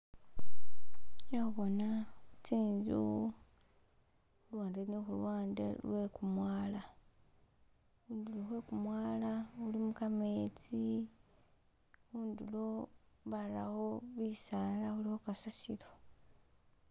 Khekhubona tsi'nzu luwande ne khuluwnde lwe'kumwala, mumwala mulimo kametsi, khundulo barawo bisala khulikho kasasilo.